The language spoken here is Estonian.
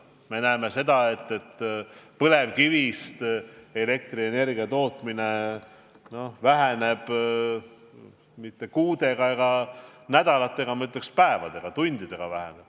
Me näeme, et põlevkivist elektrienergia tootmine ei vähene mitte kuude ega nädalatega, vaid, ma ütleks, päevadega, tundidega.